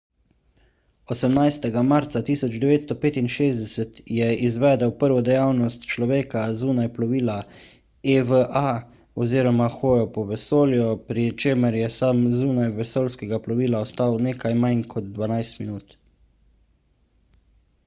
18. marca 1965 je izvedel prvo dejavnost človeka zunaj plovila eva oziroma hojo po vesolju pri čemer je sam zunaj vesoljskega plovila ostal nekaj manj kot dvanajst minut